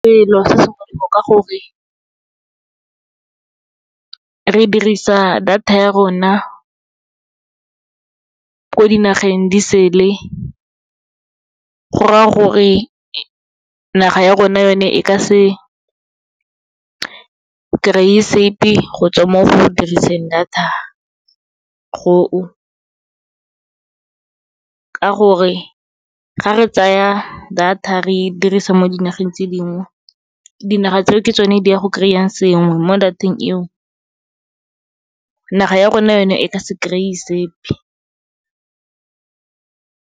Selo se molemo ka gore, re dirisa data ya rona ko dinageng di sele, gora gore naga ya rona yone, e ka se kry-e sepe go tswa mo go diriseng data go o. Ka gore, ga re tsaya data re e dirisa mo dinageng tse dingwe, dinaga tseo ke tsone di ang go kry-a sengwe mo data-eng eo, naga ya rona yone e ka se kry-e sepe.